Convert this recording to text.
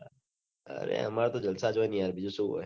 અરે અમાર તો જલસા જ હોય ને યાર બીજું શું હોય